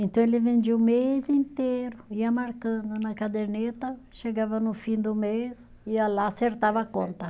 Então ele vendia o mês inteiro, ia marcando na caderneta, chegava no fim do mês, ia lá, acertava a conta.